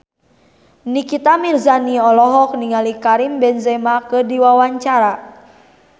Nikita Mirzani olohok ningali Karim Benzema keur diwawancara